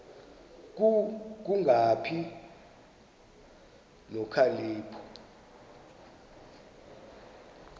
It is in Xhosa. ku kungabi nokhalipho